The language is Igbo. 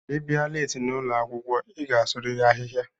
Ibia leeti n'ụlọakwụkwọ m i ga-asuriri ahịhịa.